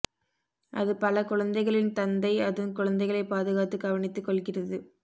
அது பல குழந்தைகளின் தந்தை அதன் குழந்தைகளை பாதுகாத்து கவனித்து கொள்கிறது